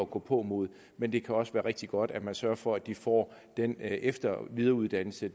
gåpåmod men det kan også være rigtig godt at man sørger for at de får den efter og videreuddannelse